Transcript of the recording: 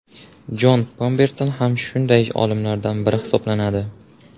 Jon Pemberton ham shunday olimlardan biri hisoblanadi.